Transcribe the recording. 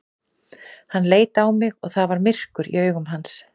Hann leit á mig og það var myrkur í augum hans.